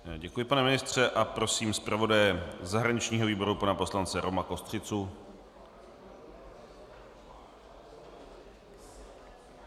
Děkuji, pane ministře, a prosím zpravodaje zahraničního výboru, pana poslance Roma Kostřicu.